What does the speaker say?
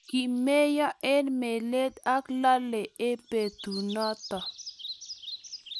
kimeyo eng melel ak lalee eng betunoto